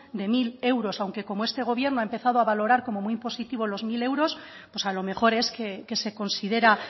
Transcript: de mil euros aunque como este gobierno ha empezado a valorar como muy positivos los mil euros pues a lo mejor es que se considera